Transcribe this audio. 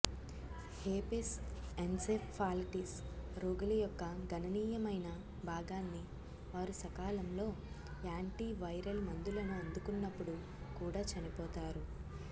herpes encephalitis రోగుల యొక్క గణనీయమైన భాగాన్ని వారు సకాలంలో యాంటీవైరల్ మందులను అందుకున్నప్పుడు కూడా చనిపోతారు